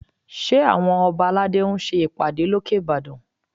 Ṣé àwọn ọba aládé ń ṣe ìpàdé lókè Ìbàdàn?